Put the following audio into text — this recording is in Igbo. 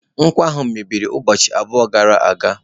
Nkwọ ahụ mebiri ụbọchị abụọ gara aga.